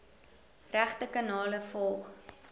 regte kanale volg